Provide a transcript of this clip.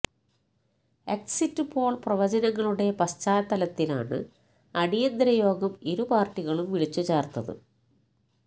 exit poll പ്രവചനങ്ങളുടെ പശ്ചാത്തലത്തിലാണ് അടിയന്തര യോഗം ഇരു പാർട്ടികളും വിളിച്ചു ചേർത്തത്